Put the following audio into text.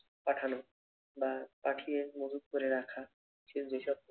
পাঠানো বা পাঠিয়ে মজুত করে রাখা সেই যেসব